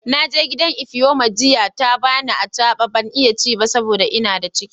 Na je gidan Ifeoma jiya, ta ba ni abacha. Ban iya ci ba dan n'na da ciki.